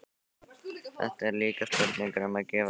Þetta er líka spurning um að gefa ekki eftir.